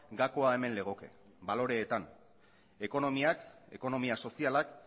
gakoa hemen legoke baloreetan ekonomiak ekonomia sozialak